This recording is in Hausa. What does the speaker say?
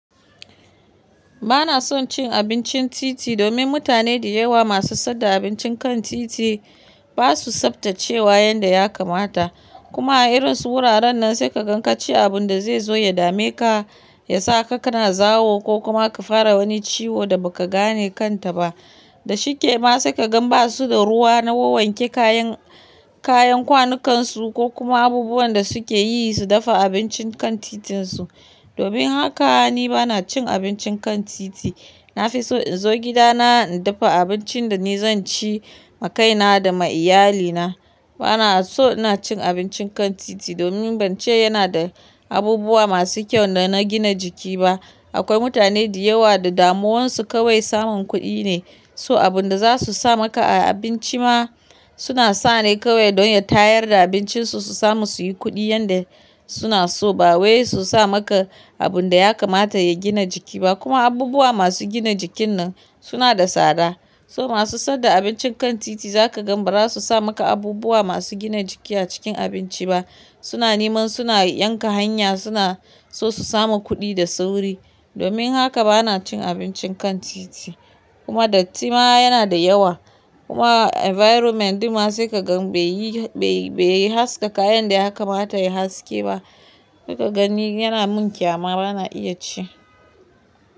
Ba na son cin abincin titi domin mutane da yawa masu saida abincin kan titi ba su tsaftace wa yanda ya kamata. Kuma a irin su wuraren nan sai ka gan ka ci abun da zai zo ya dame ka, ya sa ka kana zawo ko kuma ka fara wani ciwo da ba ka gane kanta ba. Da shike ma sai ka gan ba su da ruwa na wuwanke kayan, kayan kwanukan su ko kuma abubuwan da suke yi su dafa abincin kan titin su. Domin haka ni ba na cin abincin kan titi. Na fi so in zo gida na, in dafa abincin da ni zan ci ma kaina da ma iyalina. Ba na so ina cin abincin kan titi domin ban ce yana da abubuwa masu kyau da na gina jiki ba. Akwai mutane da yawa da damuwarsu kawai samun kuɗi ne, so abun da za su sa maka a abinci ma suna sa ne kawai don ya tayar da abincin su, su samu su yi kuɗi yanda suna so ba wai su sa maka abun da ya kamata ya gina jiki ba. Kuma abubuwa masu gina jikin nan suna da tsada. So masu saida abincin kan titi za ka gan ba za su sa maka abubuwa masu gina jiki a cikin abinci ba. Suna neman suna yanka hanya suna so su samu kuɗi da sauri. Domin haka ba na cin abincin kan titi. Kuma datti ma yana da yawa. Kuma environment ma sai ka gan bai yi, bai, bai yi haska kayan da ya kamata ya yi haske ba. Sai ka gani yana mun ƙyama ba na iya ci.